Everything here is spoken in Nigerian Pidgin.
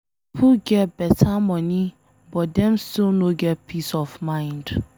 Some pipo get beta money but dem still no get peace of mind.